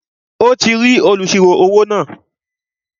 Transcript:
Ó ti rí olùsirò-owó náà